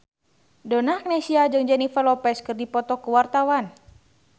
Donna Agnesia jeung Jennifer Lopez keur dipoto ku wartawan